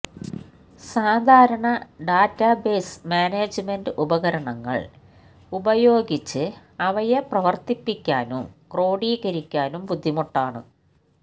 സാധാരണ database management ഉപകരണങ്ങള് ഉപയോഗിച്ച് അവയെ പ്രവര്ത്തിപ്പിക്കാനും ക്രോഡീകരിക്കാനും ബുദ്ധിമുട്ടാണ്